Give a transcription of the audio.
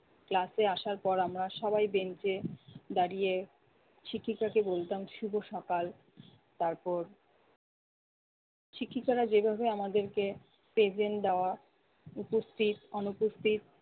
class এ আসার পর আমরা সবাই bench এ দাঁড়িয়ে শিক্ষিকা কে বলতাম শুভ সকাল, তারপর শিক্ষিকারা যেভাবে আমাদেরকে present দেওয়া, উপস্থিত-অনুপস্থিত